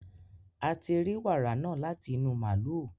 a ti rí wàrà náà láti inú màlúù